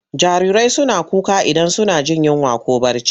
Jarirai suna kuka idan suna jin yinwa ko barci.